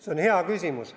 See on hea küsimus.